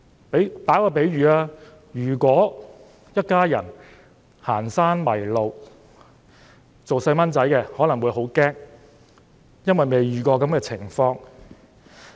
讓我作一個比喻，如果一家人行山時迷路，小朋友可能因未遇過這種情況而感到很驚慌。